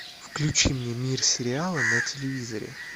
включи мне мир сериала на телевизоре